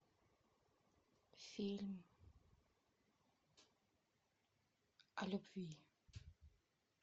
фильм о любви